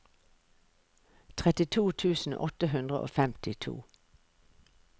trettito tusen åtte hundre og femtito